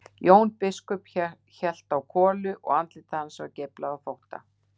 Jón biskup hélt á kolu og andlit hans var geiflað af þótta.